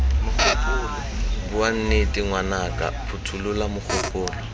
bua nnete ngwanaka phothulola mogopolo